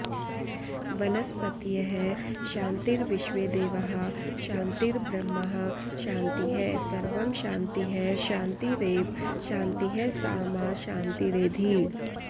वनस्पतयः शान्तिर्विश्वेदेवाः शान्तिर्ब्रह्म शान्तिः सर्वं शान्तिः शान्तिरेव शान्तिः सा मा शान्तिरेधि